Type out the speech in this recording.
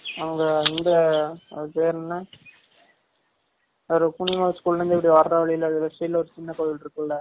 அங்க இங்க அது பேர் என்ன ஒரு புன்னியவான் school ல இருந்த்து இப்டி வர வலியில left side ல ஒரு சின்ன கோவில் இருக்கும்ல